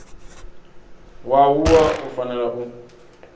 wa wua u fanela u